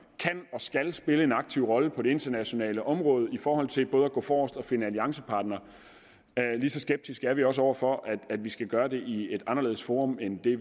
og skal spille en aktiv rolle på det internationale område i forhold til både at gå forrest og finde alliancepartnere lige så skeptiske er vi også over for at vi skal gøre det i et anderledes forum end de